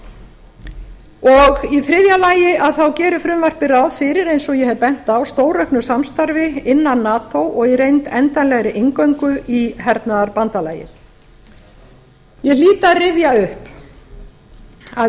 í þriðja lagi gerir frumvarpið ráð fyrir eins og ég hef bent á stórauknu samstarfi innan nato og í reynd endanlegri inngöngu í hernaðarbandalagið ég hlýt að rifja upp að ísland